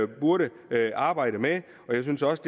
burde arbejde med og jeg synes også